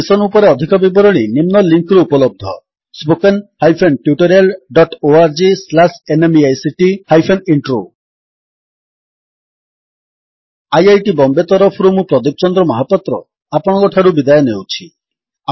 ଏହି ମିଶନ୍ ଉପରେ ଅଧିକ ବିବରଣୀ ନିମ୍ନ ଲିଙ୍କ୍ ରେ ଉପଲବ୍ଧ spoken hyphen tutorial dot org slash NMEICT hyphen intro spoken tutorialorgnmeict intro IIT Bombay ତରଫରୁ ମୁଁ ପ୍ରଦୀପ ଚନ୍ଦ୍ର ମହାପାତ୍ର ଆପଣଙ୍କଠାରୁ ବିଦାୟ ନେଉଛି